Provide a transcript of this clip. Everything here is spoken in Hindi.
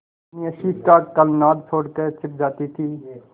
अपनी हँसी का कलनाद छोड़कर छिप जाती थीं